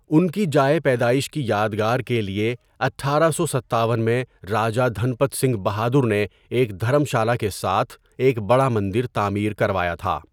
ان کی جائے پیدائش کی یادگار کے لیے ۱۸۵۷ میں راجہ دھنپت سنگھ بہادر نے ایک دھرم شالہ کے ساتھ ایک بڑا مندر تعمیر کروایا تھا۔